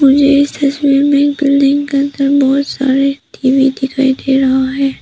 मुझे इस तस्वीर में एक बिल्डिंग के अंदर बहोत सारे टी_वी दिखाई से रहा है।